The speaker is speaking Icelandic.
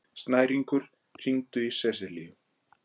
Snæringur, hringdu í Seselíu.